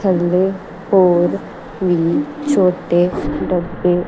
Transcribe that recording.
ਥੱਲੇ ਹੋਰ ਵੀ ਛੋਟੇ ਡੱਬੇ--